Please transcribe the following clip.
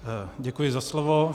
Děkuji za slovo.